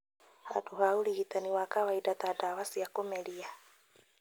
handũ ha ũrigitani wa kawaida ta ndawa cia kũmeria?